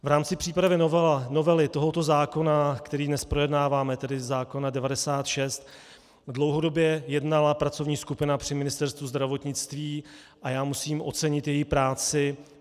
V rámci přípravy novely tohoto zákona, který dnes projednáváme, tedy zákona 96 , dlouhodobě jednala pracovní skupina při Ministerstvu zdravotnictví a já musím ocenit její práci.